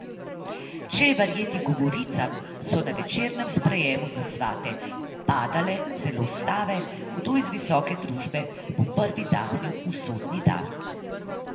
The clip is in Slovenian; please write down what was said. Če je verjeti govoricam, so na večernem sprejemu za svate padale celo stave, kdo iz visoke družbe bo prvi dahnil usodni da.